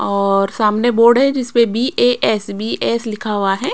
और सामने बोर्ड है जिस पे बी_ए_एस_बी_एस लिखा हुआ है।